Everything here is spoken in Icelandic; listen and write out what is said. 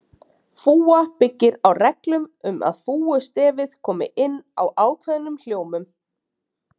Fúga byggir á reglum um að fúgustefið komi inn á ákveðnum hljómum.